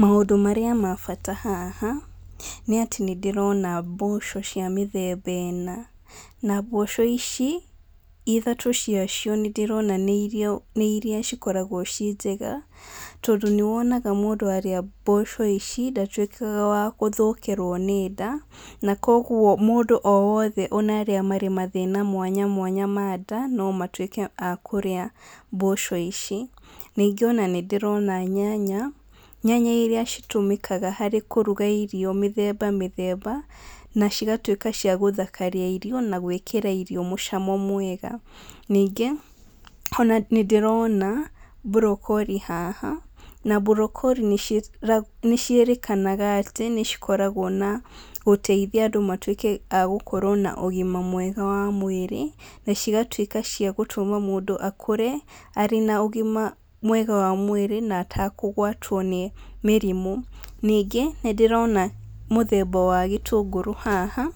Maũndũ marĩa ma bata haha nĩ atĩ nĩ ndĩrona mboco cia mĩthemba ĩna na mboco ici ithatũ cia cio nĩ ndĩrona nĩ iria cikoragwo ciĩ njega tondũ nĩ wonaga mũndũ arĩa mboco ici ndatuĩkaga wa gũthũkĩrwo nĩ nda na kwoguo mũndũ o wothe ona arĩa marĩ mathĩna mwanya mwanya ma nda no matuĩke a kũrĩa mboco ici, ningĩ ona nĩ ndĩrona nyanya, nyanya iria citũmĩkaga harĩ kũruga irio mĩthemba mĩthemba na cigatuĩka cia gũthakaria irio na gwĩkĩra irio mũcamo mwega, ningĩ ona nĩ ndĩrona broccoli haha na broccoli nĩ ciĩrĩkanaga atĩ cikoragwo na gũteithia andũ makorwo na ũgima mwega wa mwĩrĩ na cigatuĩka cia gũtũma mũndũ akũre arĩ na ũgima mwega wa mwĩrĩ na atekũgwatwo nĩ mĩrimũ. Ningĩ nĩ ndĩrona mũthemba wa gĩtũngũrũ haha